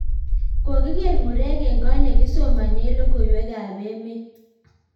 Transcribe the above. kokiker murek eng kot nekisomanen logowek ab wemet